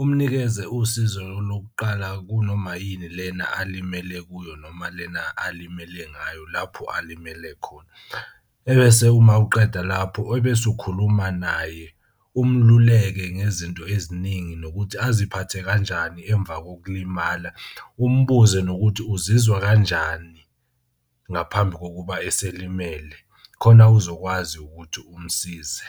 umnikeze usizo lokuqala kunoma yini lena alimele kuyo noma lena alimele ngayo lapho alimele khona. Ebese uma uqeda lapho ebese ukhuluma naye umluleki ngezinto eziningi nokuthi aziphathe kanjani emva kokulimala. Umbuze nokuthi uzizwa kanjani ngaphambi kokuba eselimele khona uzokwazi ukuthi umsize.